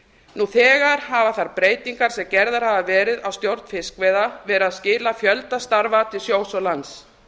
nú þegar hafa þær breytingar sem gerðar hafa verið á stjórn fiskveiða verið að skila fjölda starfa til sjós og lands